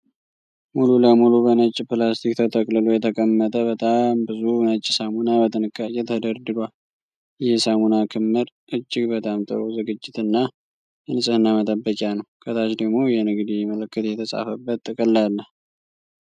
ሙሉ ለሙሉ በነጭ ፕላስቲክ ተጠቅልሎ የተቀመጠ በጣም ብዙ ነጭ ሳሙና በጥንቃቄ ተደርድሯል። ይህ የሳሙና ክምር እጅግ በጣም ጥሩ ዝግጅት እና የንጽህናመጠብቂያ ነው። ከታች ደግሞ የንግድ ምልክት የተጻፈበት ጥቅል አለ።